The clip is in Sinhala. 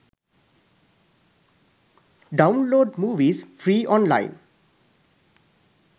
download movies free online